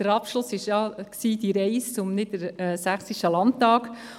Der Abschluss war ja die Reise zum Niedersächsischen Landtag.